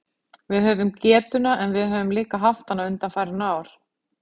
Við höfum getuna, en við höfum líka haft hana undanfarin ár.